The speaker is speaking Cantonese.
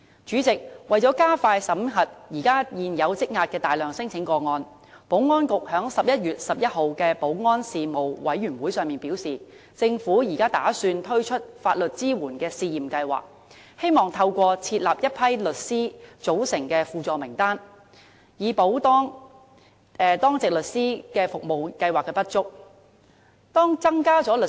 主席，為了加快審核現時大量積壓的聲請個案，保安局在11月11日的保安事務委員會會議上表示，打算推出法律支援試驗計劃，透過設立一批由律師組成的輔助名單，以補當值律師服務計劃的不足。